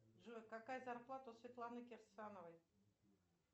джой какая зарплата у светланы кирсановой